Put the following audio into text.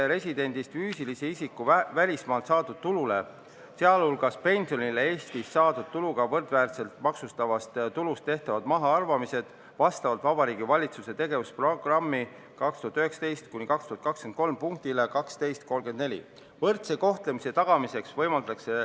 Residendist füüsilise isiku välismaalt saadud tulule, sealhulgas pensionile, tagatakse Eestis saadud tuluga võrdväärsed maksustatavast tulust tehtavad mahaarvamised vastavalt Vabariigi Valitsuse tegevusprogrammi 2019–2023 punktile 12.34, seda võrdse kohtlemise tagamiseks.